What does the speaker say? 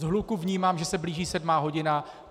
Z hluku vnímám, že se blíží sedmá hodina.